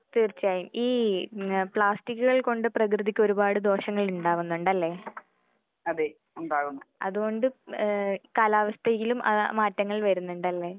തീർച്ചയായും ഈ പ്ലാസ്റ്റിക്കുകൾ കൊണ്ട് പ്രകൃതിക്ക് ഒരുപാട് ദോഷങ്ങൾ ഉണ്ടാവുന്നുണ്ട് അല്ലെ? അതുകൊണ്ട് ഏഹ് കാലാവസ്ഥയിലും ആ മാറ്റങ്ങൾ വരുന്നുണ്ട് അല്ലെ?